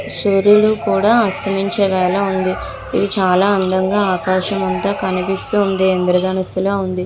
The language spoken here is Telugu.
సూర్యుడు కూడా అస్తమించేలాగా ఉంది ఇవి చాలా అందముగా ఆకాశమంతా కనిపిస్తూ ఉంది ఇంద్ర ధనుస్సు లా ఉంది.